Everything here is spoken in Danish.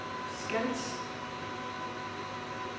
Skals